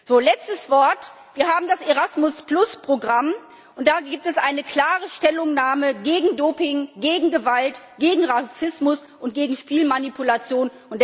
Ein letztes Wort Wir haben das Erasmus Programm, und da gibt es eine klare Stellungnahme gegen Doping, gegen Gewalt, gegen Rassismus und gegen Spielmanipulation.